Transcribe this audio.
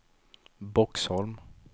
Boxholm